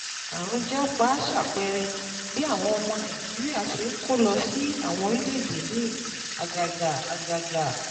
Àrùn Japa ṣàpẹẹrẹ bí àwọn ọmọ Nàìjíríà ṣe ń kó lọ sí àwọn orílẹ̀-èdè míì, àgàgà àgàgà